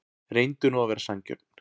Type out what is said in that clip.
Reyndu nú að vera sanngjörn.